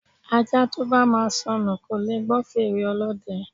Ajá to bá máa sọnù kò leè gbọ́ fèrè ọlọ́dẹ